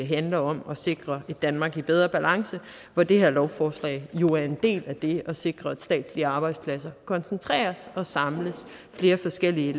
handler om at sikre et danmark i bedre balance hvor det her lovforslag jo er en del af det at sikre at statslige arbejdspladser koncentreres og samles flere forskellige